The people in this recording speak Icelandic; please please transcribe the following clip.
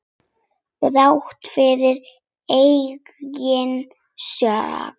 Þrátt fyrir eigin sök.